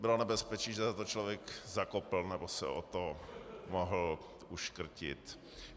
Bylo nebezpečí, že o to člověk zakopne nebo se o to mohl uškrtit.